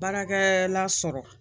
Baarakɛ la sɔrɔ